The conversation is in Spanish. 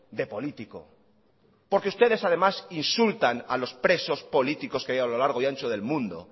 de político porque ustedes además insultan a los presos políticos que hay a lo largo y ancho del mundo